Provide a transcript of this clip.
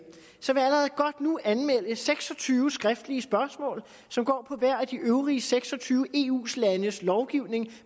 anmelde seks og tyve skriftlige spørgsmål som går på hver af de øvrige seks og tyve eu landes lovgivning